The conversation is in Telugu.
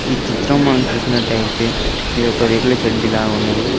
ఈ చిత్రం మనం చూసినట్లయితే ఇది ఒక రేకుల షెడ్ ల ఉన్నది.